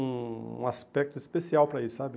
um aspecto especial para isso, sabe?